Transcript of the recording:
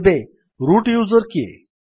ଏବେ root user କିଏ